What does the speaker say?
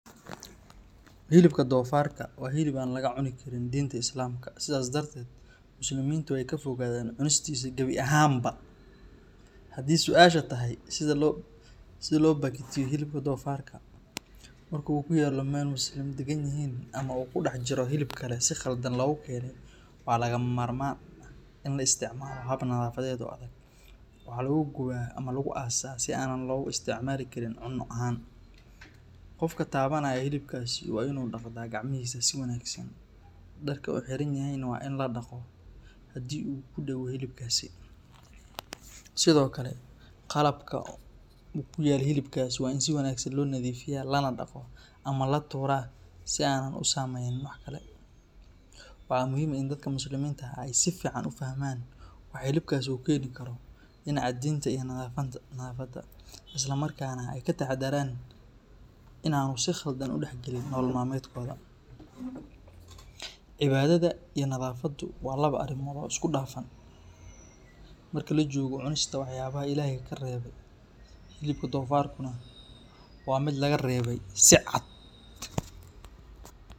Hilibka doofaarka waa hilib aan laga cuni karin diinta Islaamka, sidaas darteed Muslimiintu way ka fogaadaan cunistiisa gabi ahaanba. Haddii su’aasha tahay sida loo bakhtiiyo hilibka doofaarka marka uu ku yaallo meel Muslimiin degan yihiin ama uu ku dhex jiro hilib kale si khaldan loogu keenay, waxaa lagama maarmaan ah in la isticmaalo hab nadaafadeed oo adag. Waxaa lagu gubaa ama lagu aasaa si aanan loogu isticmaali karin cunno ahaan. Qofka taabanaya hilibkaasi waa in uu dhaqdaa gacmihiisa si wanaagsan, dharka uu xiran yahayna waa in la dhaqo haddii uu ku dhego hilibkaasi. Sidoo kale, qalabka uu ku yaal hilibkaasi waa in si wanaagsan loo nadiifiyaa, lana dhaqo ama la tuuraa si aanan u saamaynin wax kale. Waxaa muhiim ah in dadka Muslimiinta ah ay si fiican u fahmaan waxa hilibkaasi u keeni karo dhinaca diinta iyo nadaafadda, isla markaana ay ka taxadaraan in aanu si khaldan u dhexgelin nolol maalmeedkooda. Cibaadada iyo nadaafaddu waa laba arrimood oo isku dhafan, marka la joogo cunista waxyaabaha Ilaahay ka reebay. Hilibka doofaarkuna waa mid laga reebay si cad.